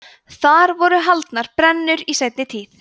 þar voru haldnar brennur í seinni tíð